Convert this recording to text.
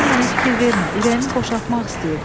Sən mənə fikir vermə, ürəyimi boşaltmaq istəyirdim.